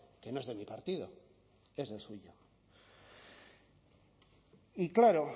que no es de mi partido es del suyo y claro